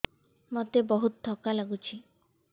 ମୋତେ ବହୁତ୍ ଥକା ଲାଗୁଛି